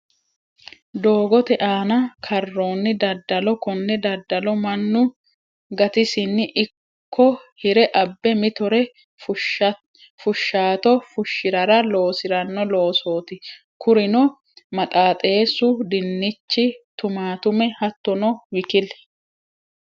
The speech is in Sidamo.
Doogote aana karonni dadalo, kone dadalo manu gatisini ikko hire abe mitore fushaato fushiranni loosirano loosoti kuriuno maxxaxeesu, dinichi, tumatume hattono wkl.